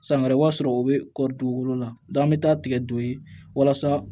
San wɛrɛ i b'a sɔrɔ o bɛ kɔɔri dugukolo la an bɛ taa tigɛ don yen walasa